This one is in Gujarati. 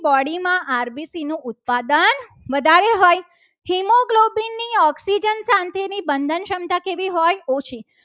Body માં rbc નું પાદાન વધારે હોય haemoglobin ની oxygen શાંતિ ની બંધન ક્ષમતા કેવી હોય. ઓછી